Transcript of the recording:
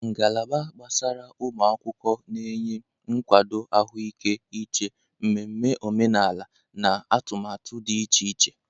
Ngalaba gbasara ụmụ akwụkwọ na-enye nkwado ahụike uche, mmemme omenala, na atụmatụ dị iche iche.